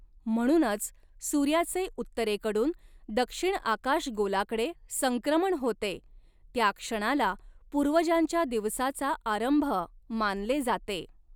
म्हणूनच, सूर्याचे उत्तरेकडून दक्षिण आकाशगोलाकडे संक्रमण होते त्या क्षणाला पूर्वजांच्या दिवसाचा आरंभ मानले जाते.